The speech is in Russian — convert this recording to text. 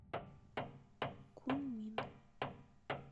куньмин